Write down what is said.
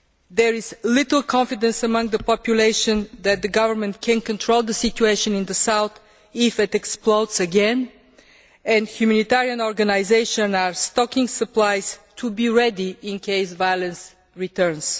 There is little confidence among the population that the government can control the situation in the south if it explodes again, and humanitarian organisations are stocking supplies to be ready in case violence returns.